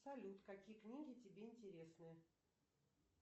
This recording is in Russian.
салют какие книги тебе интересны